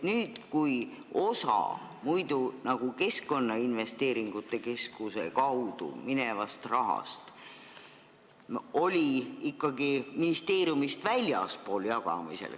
Seni jagati osa sellest rahast Keskkonnainvesteeringute Keskuse kaudu ikkagi ministeeriumist väljaspool.